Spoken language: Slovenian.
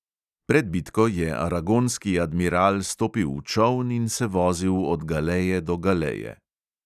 Pred bitko je aragonski admiral stopil v čoln in se vozil od galeje do galeje.